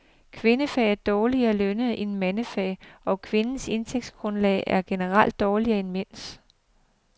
Kvindefag er dårligere lønnede end mandefag, og kvinders indtægtsgrundlag er generelt dårligere end mænds.